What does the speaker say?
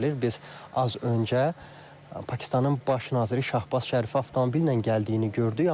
Biz az öncə Pakistanın baş naziri Şahbaz Şərifi avtomobillə gəldiyini gördük.